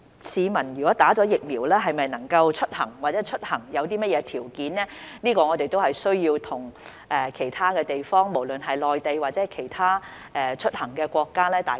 市民接種疫苗後能否出行或出行條件是甚麼，是我們需要與其他地方商討的，不論是內地或其他國家。